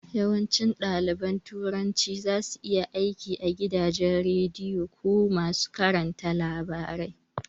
Yawancin ɗaliban turanci zasu iya aiki a gidajen radiyo ko masu karanta labarai